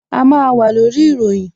A máa wà lórí ìròyìn